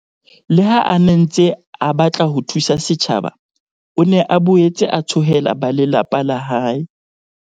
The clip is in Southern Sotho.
Le ha a ne a ntse a batla ho thusa setjhaba, o ne a boetse a tshohela ba lelapa la hae.